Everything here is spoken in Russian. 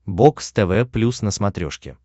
бокс тв плюс на смотрешке